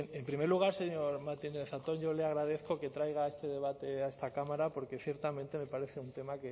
bien en primer lugar señor martínez zatón yo le agradezco que traiga este debate a esta cámara porque ciertamente me parece un tema